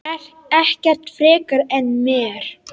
Ekkert frekar en mér.